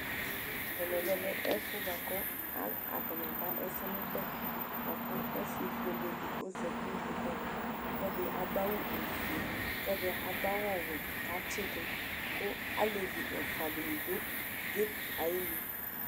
Ɛvɛ lɛ ɛfu atani aba ɛsɛmubɛ ku ɔsi fueledi ɔzati nu kpoku ava ku ɛdi adu awu ofue kuɛdi awu ɔwɛ katsidu ku alevi ɛfuaduni du kep ayinu